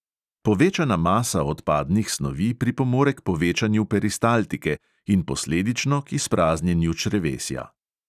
Povečana masa odpadnih snovi pripomore k povečanju peristaltike in posledično k izpraznjenju črevesja.